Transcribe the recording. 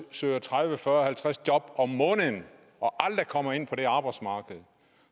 søger tredive fyrre og halvtreds job om måneden og aldrig kommer ind på det arbejdsmarked